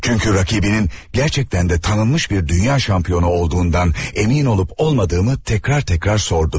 Çünki rəqibinin gerçekten də tanınmış bir dünya şampionu olduğundan əmin olub-olmadığımı təkrar təkrar sordu.